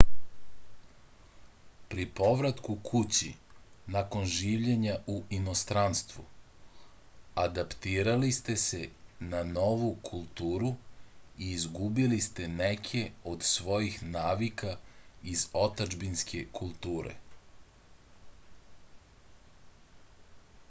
pri povratku kući nakon življenja u inostranstvu adaptirali ste se na novu kulturu i izgubili ste neke od svojih navika iz otadžbinske kulture